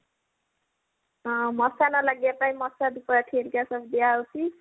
ହଁ ମସା ନ ଲାଗିବା ପାଇଁ ମସା ଧୂପ ସବୁ ଏଠି ହେରିକା ସବୁ ଦିଆ ହଉଛି